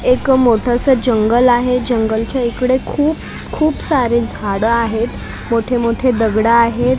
एक मोठंसं जंगल आहे जंगलच्या इकडे खूप खूप सारे झाडं आहेत मोठे मोठे दगडं आहेत .